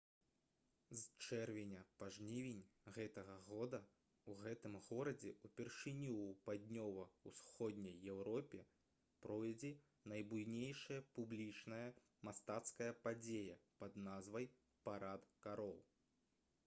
з чэрвеня па жнівень гэтага года ў гэтым горадзе ўпершыню ў паўднёва-ўсходняй еўропе пройдзе найбуйнейшая публічная мастацкая падзея пад назвай «парад кароў»